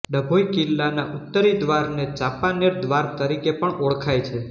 ડભોઈ કિલ્લાના ઉત્તરી દ્વારને ચાંપાનેર દ્વાર તરીકે પણ ઓળખાય છે